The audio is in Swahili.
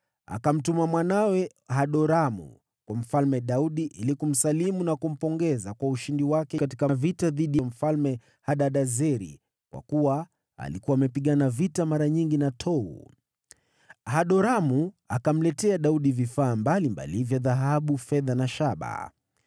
akamtuma mwanawe, Hadoramu kwa Mfalme Daudi ili kumsalimu na kumpongeza kwa ushindi wake katika vita dhidi ya Mfalme Hadadezeri, kwa kuwa alikuwa amepigana vita mara nyingi na Tou. Hadoramu akamletea Daudi vifaa mbalimbali vya dhahabu, fedha na shaba.